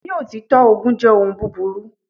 Ni òtítọ́, ogun jẹ́ ohun búburú.